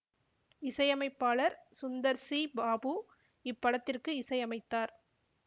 இசையமைப்பாளர் சுந்தர் சி பாபு இப்படத்திற்கு இசை அமைத்தார்